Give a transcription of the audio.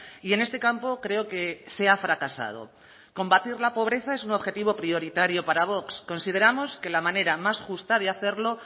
y en este campo creo que se ha fracasado combatir la pobreza es un objetivo prioritario para vox consideramos que la manera más justa de hacerlo